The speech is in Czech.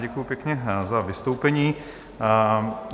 Děkuju pěkně za vystoupení.